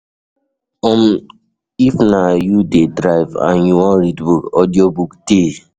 If na you de drive and you wan read book, audio book de